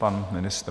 Pan ministr.